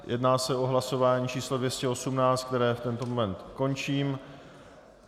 Jedná se o hlasování číslo 218, které v tento moment končím.